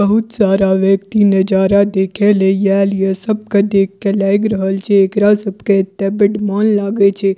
बहुत सारा नजारा देखे ले येएल ये सब के देख के लाएग रहल छै एकरा सब के एता बड़ मन लागे छै।